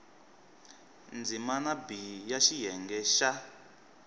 ndzimana b ya xiyenge xa